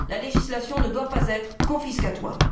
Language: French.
La législation ne doit pas être confiscatoire.